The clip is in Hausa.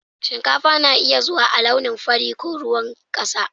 Shinkafa na iya zuwa a launin fari ko ruwan ƙasa.